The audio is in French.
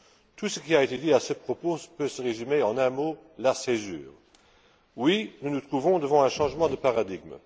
Tout ce qui a été dit à ce propos peut se résumer en un mot la césure. Oui, nous nous trouvons devant un changement de paradigme.